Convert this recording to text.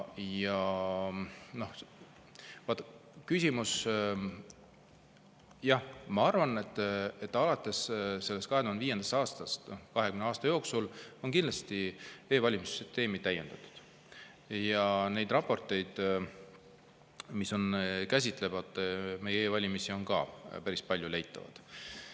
Jah, ma arvan, et alates sellest 2005. aastast, 20 aasta jooksul, on kindlasti e-valimiste süsteemi täiendatud ja need raportid, mis käsitlevad meie e-valimisi, on päris hästi leitavad.